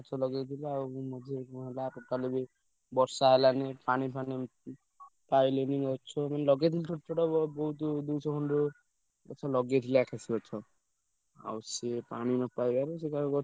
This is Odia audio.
ଗଛ ଲଗେଇଥିଲି ଆଉ ମଝିରେ ବର୍ଷା ହେଲାନି ପାଣି ଫାଣି ପାଇଲେନି ଗଛ ମାନେ ଲଗେଇଥିଲି ଛୋଟ ଛୋଟ ବହୁତ ଦୁଇଶହ ଖଣ୍ଡେ ଗଛ ଲଗେଇଥିଲି ଆକାଶି ଗଛ। ଆଉ ସେ ପାଣି ନପାଇବାରୁ ।